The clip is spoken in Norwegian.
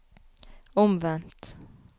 omvendt